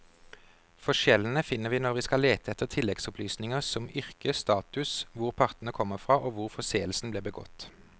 Forskjellene finner vi når vi skal lete etter tilleggsopplysninger som yrke, status, hvor partene kom fra og hvor forseelsen ble begått.